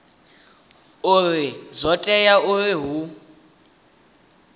uri zwo tea uri hu